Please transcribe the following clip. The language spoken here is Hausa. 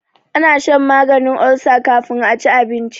ana shan maganin ulsa kafin a ci abinci